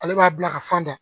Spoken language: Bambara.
Ale b'a bila ka fan da